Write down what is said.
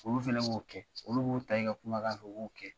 Olu fɛnɛ b'o kɛ, olu b'u ta i ka kumakan fɛ u b'o kɛ.